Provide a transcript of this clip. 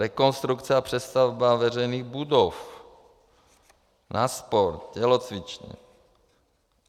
Rekonstrukce a přestavba veřejných budov, na sport, tělocvičny.